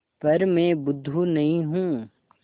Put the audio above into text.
पर मैं बुद्धू नहीं हूँ